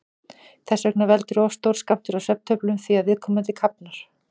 Þess vegna veldur of stór skammtur af svefntöflum því að viðkomandi kafnar.